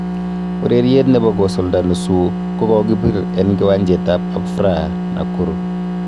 Ureriet nebo kosulda nusu ko kokibir en kiwanjet ab Afraha, Nakuru